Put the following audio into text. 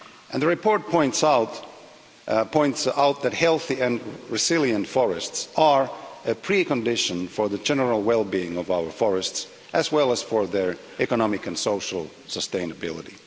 The report points out that healthy and resilient forests are a precondition for the general well being of our forests, as well as for their economic and social sustainability.